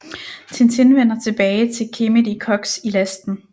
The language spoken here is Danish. Tintin vender tilbage til Khemed i Koks i Lasten